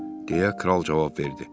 Deyə kral cavab verdi.